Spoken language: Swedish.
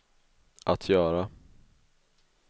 att göra